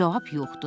Cavab yoxdur.